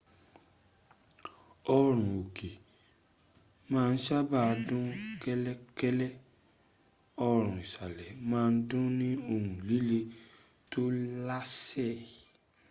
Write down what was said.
orun-oke ma n saba dun kelekele orun-isale ma n dun ni ohun lile to lase